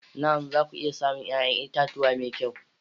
Na'am! za ku iya samun 'ya'yan itatuwa mai kyau.